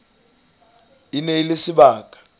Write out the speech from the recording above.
e ne e le sebaka